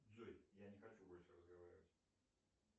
джой я не хочу больше разговаривать